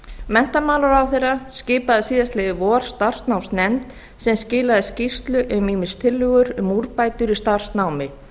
menntamálaráðherra skipaði síðastliðið vor starfsnámsnefnd sem skilaði skýrslu um ýmist tillögur um úrbætur í starfsnámi